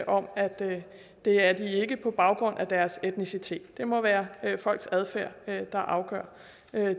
om at det er de ikke på baggrund af deres etnicitet det må være folks adfærd der afgør